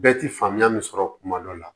Bɛɛ ti faamuya min sɔrɔ kuma dɔ la